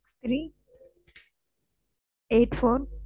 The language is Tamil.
Six three eight four,